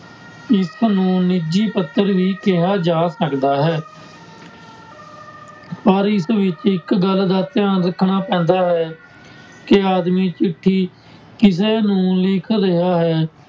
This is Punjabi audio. ਇਸਨੂੰ ਨਿੱਜੀ ਪੱਤਰ ਵੀ ਕਿਹਾ ਜਾ ਸਕਦਾ ਹੈ ਪਰ ਇਸ ਵਿੱਚ ਇੱਕ ਗੱਲ ਦਾ ਧਿਆਨ ਰੱਖਣਾ ਪੈਂਦਾ ਹੈ ਕਿ ਆਦਮੀ ਚਿੱਠੀ ਕਿਸ ਨੂੰ ਲਿਖ ਰਿਹਾ ਹੈ।